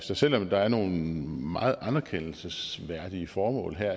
så selv om der er nogle meget anerkendelsesværdige formål her